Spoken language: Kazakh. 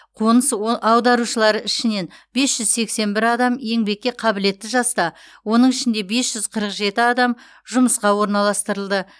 қоныс о аударушылар ішінен бес жүз сексен бір адам еңбекке қабілетті жаста оның ішінде бес жүз қырық жеті адам жұмысқа орналастырылды